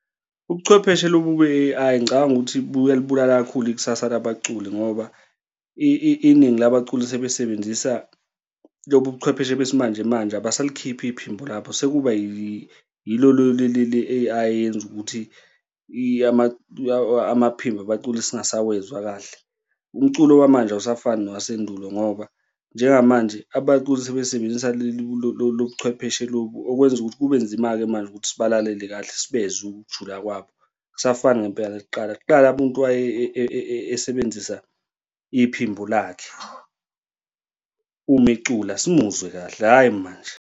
Ubuchwepheshe lobu be-A_I ngicabangi ukuthi liyalibulala kakhulu ikusasa labaculi ngoba iningi labaculi selisebenzisa lobu buchwepheshe besimanje manje abasalikhiphi iphimbo lapho sekuba yilo leli le-A_I elenza ukuthi amaphimbo abaculi singasawezwa kahle. Umculo wamanje awusafani nowasendulo ngoba njengamanje abaculi sebesebenzisa lobu chwepheshe lobu, okwenza ukuthi kube nzima-ke manje ukuthi sibalalele kahle, sibezwe ukujula kwabo. Akusafana ngempela nakuqala. Kqala umuntu waye esebenzisa iphimbo lakhe uma ecula simuzwe kahle, hhayi manje.